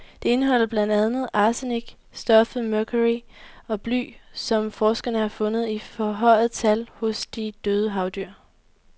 Det indeholder blandt andet arsenik, stoffet mercury og bly, som forskerne har fundet i forhøjet tal hos de døde havdyr.